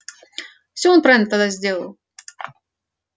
всё он правильно тогда сделал